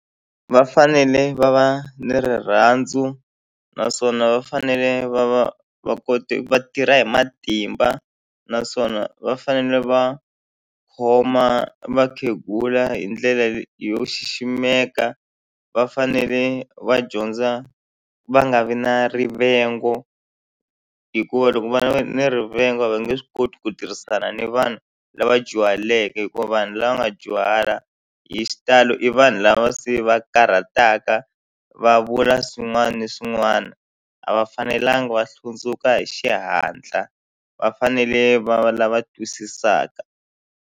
Va fanele va va ni rirhandzu naswona va fanele va va va kote va tirha hi matimba naswona va fanele va khoma vakhegula hi ndlela yo xiximeka va fanele va dyondza va nga vi na rivengo hikuva loko va ni rivengo a va nge swi koti ku tirhisana ni vanhu lava dyuhaleke hikuva vanhu lava nga dyuhala hi xitalo i vanhu lava se va karhataka va vula swin'wana na swin'wana a va fanelanga va hlundzuka hi xihatla va fanele va lava twisisaka.